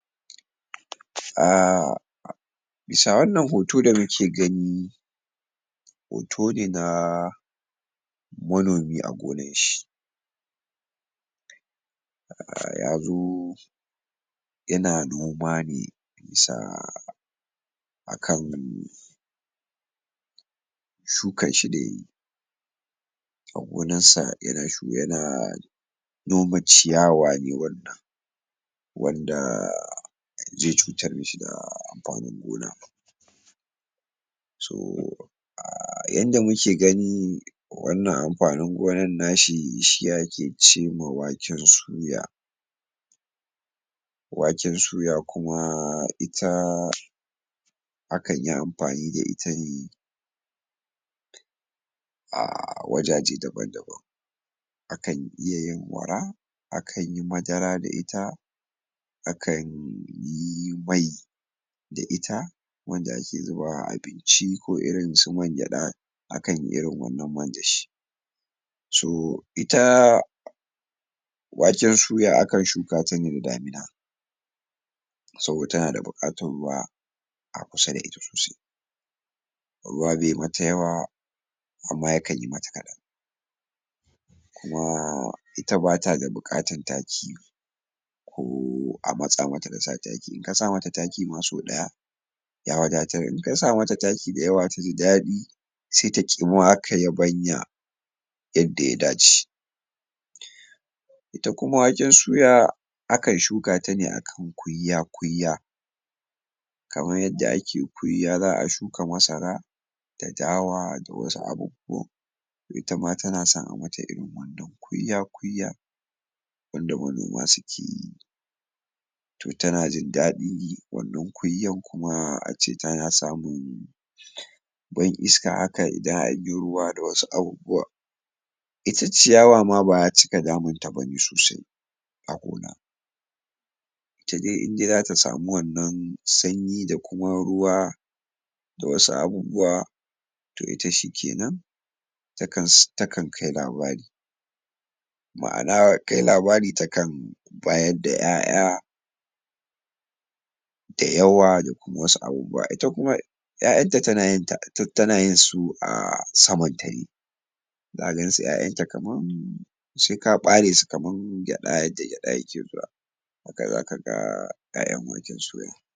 A wannan hoto da muke gani hoto ne ma manomi a gonan shi a' yazo yana noma ne sa akan shukan shi da yayi yana noma ciyawa ne wannan wadda gonan. so a yanda muke gani wanan amfanin gonan nashi, shi ake ce ma waken soya waken suya kuma, ita akan yi amfani da ita ne a wajaje daban daban akan iya yin akan yi madara da ita, akan yi mai da ita wanda ake zuba a abinci ko irin su man geda akan yi irin wannan man da shi. su, ita waken suya akan shuka ta ne a damina saboda tana da bukatan ruwa a kusa da ita sosai ruwa be mata yawa amma yakan yi mata kadan. ma, ita bata da bukatan taki ko a masa mata da sa taki. in ka sa mata taki ma so daya ya wagatar, in ka sa mata taki da yawa a cikin dadi sai ta ki mabanya yadda ya dace. ita kuma waken suya, akan shuka ta ne akan kuya kuya kaman yadda ake kuyya za a shuka masara, da dawa da wasu abubuwan toh ita ma tana son a mata irin wannan, kuya kuya wanda manoma suke yi toh tana jin dadin yi, wannan kuyan kuma a ce tana samun iska haka ruwa da wasu abubuwa ita ciyawa ma ba a cika damun ta ba sosai idai zata samu wannan sanyi da kuma ruwa da wasu abubuwa toh ita shikenan takan kai labari ma'ana kai labari ta kan bayar da iyaiya da yawa da kuma wasu abubuwa, ita kuma iyaiyan ta tana yin, su a za ga su iyaiyan ta kaman sai ka bare su kaman geda, yadda geda yake zuwa zaka ga